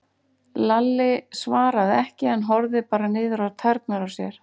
Lalli svaraði ekki en horfði bara niður á tærnar á sér.